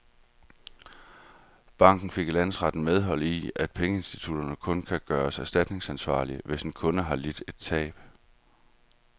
Banken fik i landsretten medhold i, at pengeinstitutter kun kan gøres erstatningsansvarlige, hvis en kunde har lidt et tab.